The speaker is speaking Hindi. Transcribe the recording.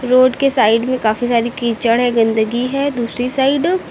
रोड के साइड में काफी सारी कीचड़ है गंदगी है दूसरी साइड --